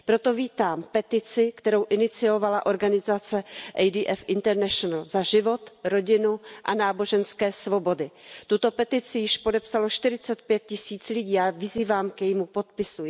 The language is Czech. Proto vítám petici, kterou iniciovala organizace ADF International za život, rodinu a náboženské svobody. Tuto petici již podepsalo čtyřicet pět tisíc lidí a já vyzývám k jejímu podpisu.